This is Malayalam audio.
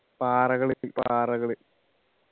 പാറകള് പാറകള്